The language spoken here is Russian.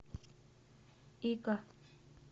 ика